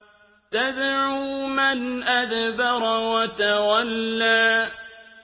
تَدْعُو مَنْ أَدْبَرَ وَتَوَلَّىٰ